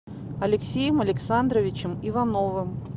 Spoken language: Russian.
алексеем александровичем ивановым